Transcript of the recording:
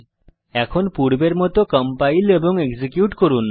এখন পূর্বের মত কম্পাইল এবং এক্সিকিউট করুন